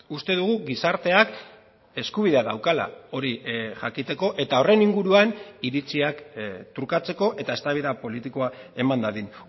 uste dugu gizarteak eskubidea daukala hori jakiteko eta horren inguruan iritziak trukatzeko eta eztabaida politikoa eman dadin